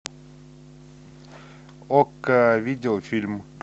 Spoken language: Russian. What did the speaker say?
окко видео фильм